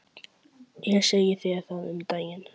Ég sagði þér það um daginn.